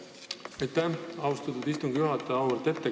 Aitäh, austatud istungi juhataja!